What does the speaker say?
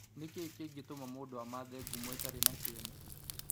Nĩkĩĩ kĩngĩtũma mũndũ amathe ngumo ĩtarĩ na kĩene?